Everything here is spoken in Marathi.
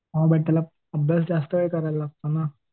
हां बट त्याला अभ्यास जास्त वेळ करायला लागतो ना.